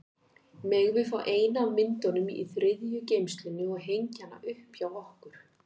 Megum við fá eina af myndunum í þriðju geymslunni og hengja hana upp hjá okkur?